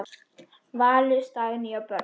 Valur, Dagný og börn.